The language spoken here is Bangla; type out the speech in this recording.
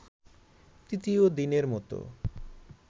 তৃতীয় দিনের মতো